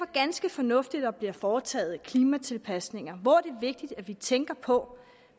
ganske fornuftigt at der bliver foretaget klimatilpasninger hvor det er vigtigt at vi tænker på